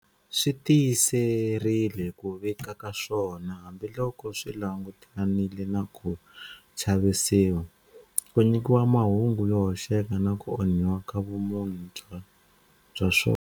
Swi tiyiserile ku vika ka swona hambiloko swi langutanile na ku chavisiwa, ku nyikiwa mahungu yo hoxeka na ku onhiwa ka vumunhu bya swona.